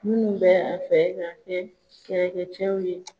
Minnu bɛ a fɛ ka kɛ kɛlɛkɛcɛw ye.